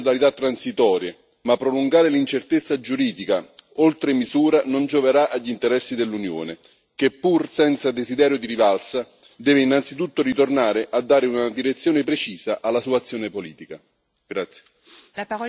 I negoziati potranno anche stabilire modalità transitorie, ma prolungare l'incertezza giuridica oltre misura non gioverà agli interessi dell'Unione che, pur senza desiderio di rivalsa, deve innanzitutto ritornare a dare una direzione precisa alla sua azione politica.